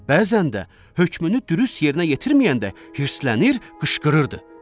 Bəzən də hökmünü dürüst yerinə yetirməyəndə hiddslənir, qışqırırdı.